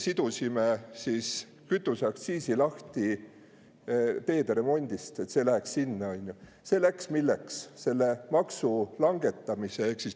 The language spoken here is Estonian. Sidusime kütuseaktsiisi lahti teederemondist, et see läheks milleks?